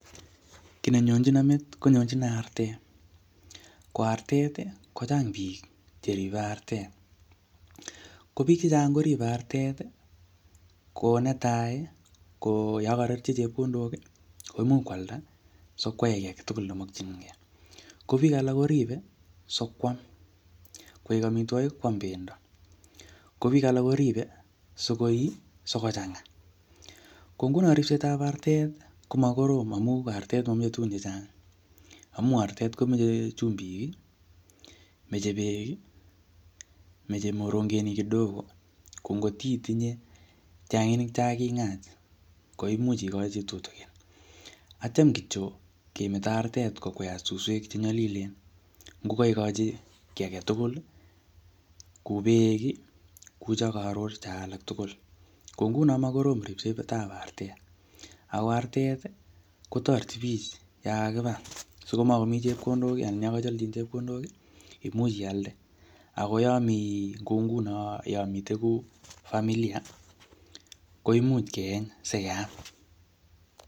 Kiy nenyonchino metit, konyonchino artet. Ko artet, kochang biik che ribe artet. Ko biik chechang koribe artet, ko netai, ko yokorerchi chepkondok, koimuch koalda sikwai age tugul nemokchinkey. Ko biik alak koribe, sikwam koek amitwogik, kwam pendo. Ko biik alak koribe sikoyii, sikochang'a. Ko nguno ripsetab artet, ko makorom amu artet mameche tuguk chechang. Amu artet komeche chumbik, meche beek, meche morongenik kidogo. Ko ngotitinye tianginik cha king'aa, ko imuch ikochi tutukin. Atyam kityo kemeto artet kokweat suswek che nyalilen, ngo kaikochi kiy age tugul, ku beek, ku chekaror cho alak tugul. Ko nguno ma korom ripsetab artet. Ako artet, kotoreti biich yakakibar, sikomakomi chepondok, anan yakacholchin chepkondok, imuch ialde. Akoyomi kou nguno, yomite kou familia, koimuch keeny, sikeam.